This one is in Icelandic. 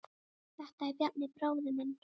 Þetta er Bjarni, bróðir minn.